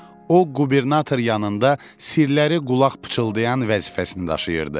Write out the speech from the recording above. O qubernator yanında sirləri qulaq pıçıldayan vəzifəsini daşıyırdı.